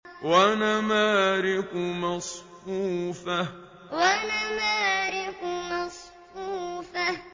وَنَمَارِقُ مَصْفُوفَةٌ وَنَمَارِقُ مَصْفُوفَةٌ